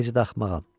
Necə də axmağa.